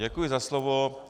Děkuji za slovo.